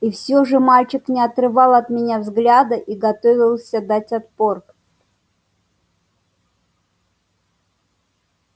и всё же мальчик не отрывал от меня взгляда и готовился дать отпор